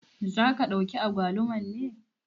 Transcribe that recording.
Za ka ɗauki agwaluman ne?